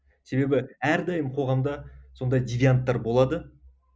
себебі әрдайым қоғамда сондай девианттар болады